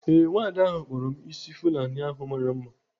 Ee, nwada ahu kpara m ịsị Fulani ahụ mara mma.